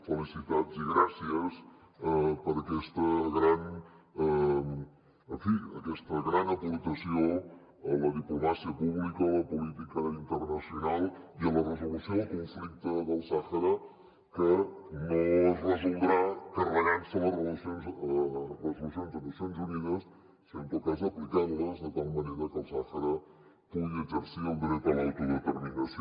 felicitats i gràcies per aquesta gran en fi aportació a la diplomàcia pública a la política internacional i a la resolució del conflicte del sàhara que no es resoldrà carregant se les resolucions de nacions unides sinó en tot cas aplicant les de tal manera que el sàhara pugui exercir el dret a l’autodeterminació